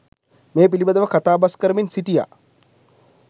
මේ පිළිබඳව කථාබස් කරමින් සිටියා.